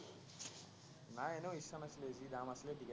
নাই এনেও ইচ্ছা নাছিলে, যি দাম আছিলে